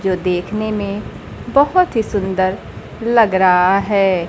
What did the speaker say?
जो देखने में बहोत ही सुंदर लग रहा है।